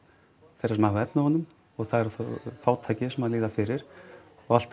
þeirra sem hafa efni á honum og það eru þá fátækir sem líða fyrir og alltaf